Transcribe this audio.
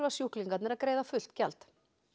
sjúklingarnir að greiða fullt gjald